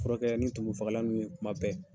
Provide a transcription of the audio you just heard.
Furakɛ ni tumu fagalan ninnu ye kuma bɛ.